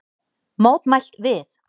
Mótmælt við